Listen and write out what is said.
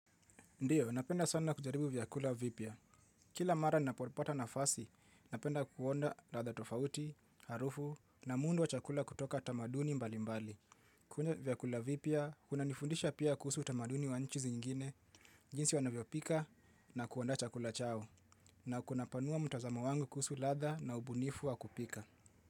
Ndiyo, napenda sana kujaribu vyakula vipya. Kila mara ninapo pata nafasi, napenda kuonya ladha tofauti, harufu na muundo wa chakula kutoka tamaduni mbali mbali. Kula vyakula vipya, kuna nifundisha pia kuhusu utamaduni wa nchi zingine, jinsi wanavyo pika na kuanda chakula chao. Na kuna panua mtazamo wangu kuhusu ladha na ubunifu wa kupika.